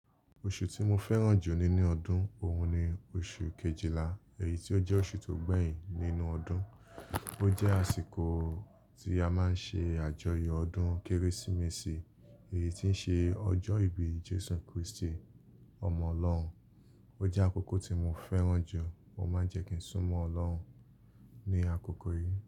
Oṣù tí mo fẹ́ràn jù nínú ọdún, òun ni oṣù Kejìlá, èyí tí ó jẹ́ oṣù tó gbẹ̀yìn nínú ọdún. Ó jẹ́ àsìkò tí a máa ń ṣe àjọyọ̀ ọdún Kérésìmesì, èyí tí ń ṣe ọjọ́ ìbí Jésù Krístì, ọmọ Ọlọ́run. Ó jẹ́ àkókò tí mo fẹ́ràn jù. O máa ń jẹ́ kí n súnmọ́ Ọlọ́run ní àkókò yìí.